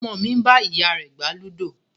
Ọmọ mi ń bá ìyá rẹ gbá ludo